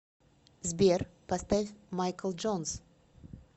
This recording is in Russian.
сбер поставь майкл джонс